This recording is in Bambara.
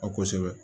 A ko kosɛbɛ